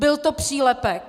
Byl to přílepek.